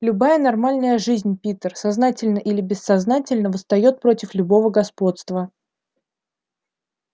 любая нормальная жизнь питер сознательно или бессознательно восстаёт против любого господства